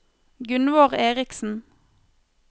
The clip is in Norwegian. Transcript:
Gunvor Eriksen